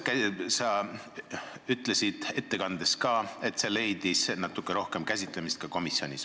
Sa ütlesid ettekandes, et see leidis ka komisjonis natuke rohkem käsitlemist.